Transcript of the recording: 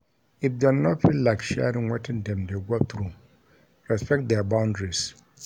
If them no feel like sharing wetin dem de go through respect their boundaries